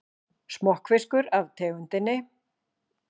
Smokkfiskur af tegundinni